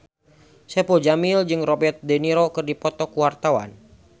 Saipul Jamil jeung Robert de Niro keur dipoto ku wartawan